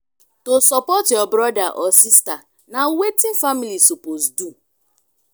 to support your brotha or sista na wetin family suppose do.